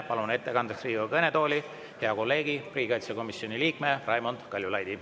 Palun ettekandeks Riigikogu kõnetooli hea kolleegi, riigikaitsekomisjoni liikme Raimond Kaljulaidi.